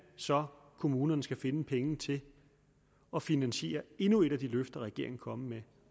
så kommunerne skal finde pengene til at finansiere endnu et af de løfter regeringen kommer med